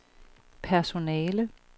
personale